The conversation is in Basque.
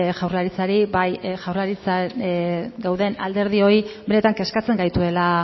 jaurlaritzari eta bai dauden alderdioi benetan kezkatzen gaituela